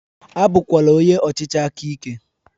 A bụkwala onye ọchịchị aka ike!.